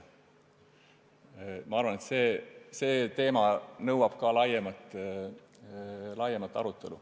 Ma arvan, et see teema nõuab laiemat arutelu.